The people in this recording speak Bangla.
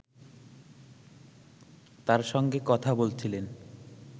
তার সঙ্গে কথা বলছিলেন